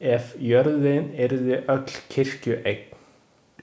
Ef jörðin yrði öll kirkjueign.